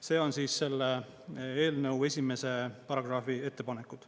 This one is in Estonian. See on selle eelnõu esimese paragrahvi ettepanekud.